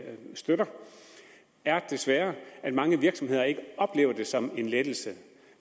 støtter er desværre at mange virksomheder ikke oplever det som en lettelse